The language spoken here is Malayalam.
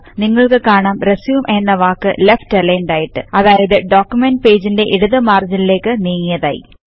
നിങ്ങൾക്ക് കാണാം RESUMEഎന്ന വാക്ക് ലെഫ്റ്റ് alignedആയിട്ട് അതായത് ഡോക്യുമെന്റ് പേജ്ന്റെ ഇടതു മാർജിനിലെക് നീങ്ങിയതായി